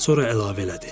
Sonra əlavə elədi.